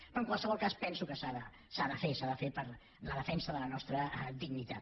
però en qualsevol cas penso que s’ha de fer s’ha de fer per la defensa de la nostra dignitat